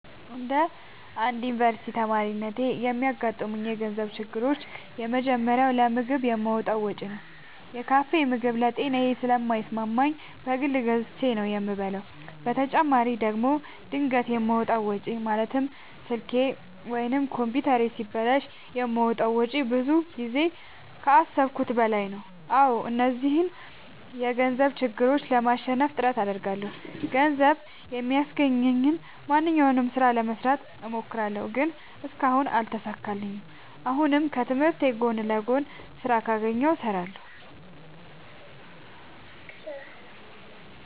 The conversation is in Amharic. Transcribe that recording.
እንደ አንድ ዮኒቨርስቲ ተማሪነቴ የሚያጋጥሙኝ የገንዘብ ችግሮች የመጀመሪያው ለምግብ የማወጣው ወጪ ነው። የካፌ ምግብ ለጤናዬ ስለማይስማማኝ በግል ገዝቼ ነው የምበላው በተጨማሪ ደግሞ ድንገት የማወጣው ወጪ ማለትም ስልኬ ወይም ኮምፒውተሬ ሲበላሽ የማወጣው ወጪ ብዙ ጊዜ ከአሠብኩት በላይ ነው። አዎ እነዚህን የገንዘብ ችግሮች ለማሸነፍ ጥረት አደርጋለሁ። ገንዘብ የሚያስገኘኝን ማንኛውንም ስራ ለመስራት እሞክራለሁ። ግን እስካሁን አልተሳካልኝም። አሁንም ከትምህርቴ ጎን ለጎን ስራ ካገኘሁ እሠራለሁ።